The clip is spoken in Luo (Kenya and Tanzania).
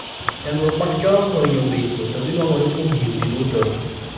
chandruok mag chong ohinyo betie, to gi nuang'ore kuom higni duto